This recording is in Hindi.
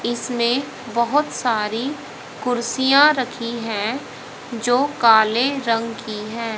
इसमें बहुत सारी कुर्सियां रखी हैं जो काले रंग की हैं।